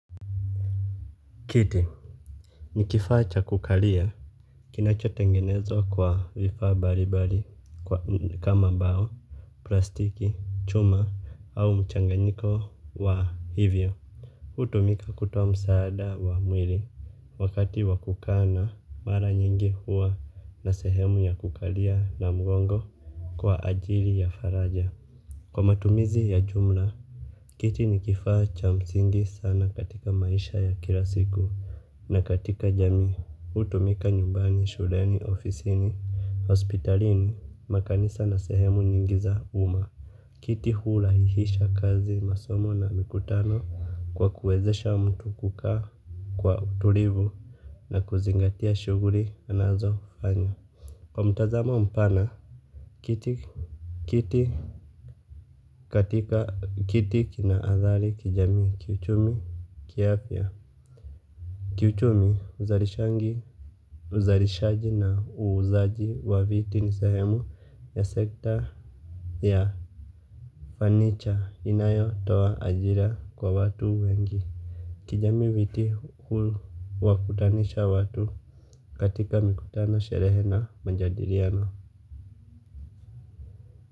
Kiti ni kifaa cha kukalia kinachotengenezwa kwa vifaa mbalimbali kama mbao plastiki chuma au mchanganiko wa hivyo hutumika kutoa msaada wa mwili wakati wa kukaa na mara nyingi huwa na sehemu ya kukalia na mgongo kwa ajili ya faraja kwa matumizi ya jumla kiti ni kifaa cha msingi sana katika maisha ya kila siku. Na katika jamii, hutumika nyumbani, shuleni, ofisini, hospitalini, makanisa na sehemu nyingi za uma. Kiti hurahisisha kazi masomo na mikutano kwa kuwezesha mtu kukaa kwa utulivu na kuzingatia shughuli anazofanya. Kwa mtazamo mpana, kiti kiti katika kiti kina adhari kijamii kiuchumi kiafya. Kiuchumi uzarishaji na uuzaji wa viti ni sehemu ya sekta ya fanicha inayotoa ajira kwa watu wengi. Kijamii viti huwakutanisha watu katika mikutano sherehe na majadiliano.